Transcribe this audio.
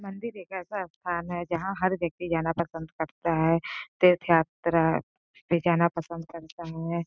मंदिर एक ऐसा स्थान है जहां हर व्यक्ति जाना पसंद करता है तीर्थ यात्रा पे जाना पसंद करता है।